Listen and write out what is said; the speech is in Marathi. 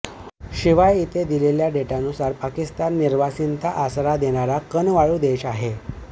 शिवाय इथे दिलेल्या डेटा नुसार पाकिस्तान निर्वासिताना आसरा देणारा कनवाळू देश आहे